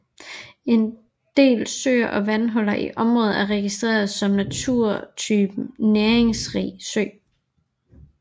En del søer og vandhuller i området er registreret som naturtypen næringsrig sø